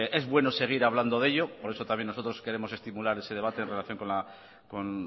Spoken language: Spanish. es bueno seguir hablando de ello por eso también nosotros queremos estimular ese debate en relación con